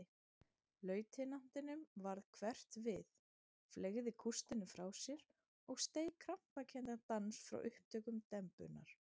Lautinantinum varð hverft við, fleygði kústinum frá sér og steig krampakenndan dans frá upptökum dembunnar.